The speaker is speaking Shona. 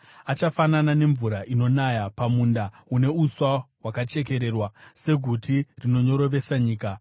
achafanana nemvura inonaya pamunda une uswa hwakachekererwa, seguti rinonyorovesa nyika.